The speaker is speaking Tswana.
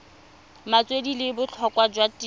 metswedi le botlhokwa jwa tirelo